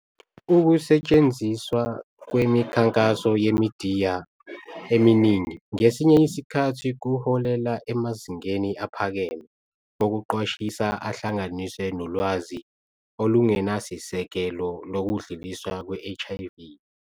Ukusetshenziswa kwemikhankaso yemidiya eminingi kwesinye isikhathi kuholele emazingeni aphakeme "okuqwashisa" ahlanganiswe nolwazi olungenasisekelo lokudluliswa kwe-HIV.